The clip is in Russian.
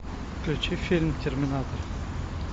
включи фильм терминатор